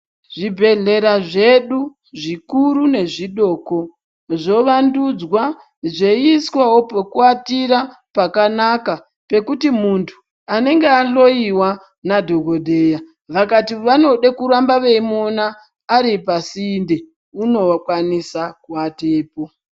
Zvibhedhlera zvedu zvikuru nezvidoko zvovandudzwa zveiiswawo pekuwatira pakanaka pekuti muntu anenge ahloiwa nadhogodheya vakati vanoda kuramba veimuona aripasinde unokwanisa kuatepo.